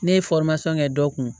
Ne ye kɛ dɔ kun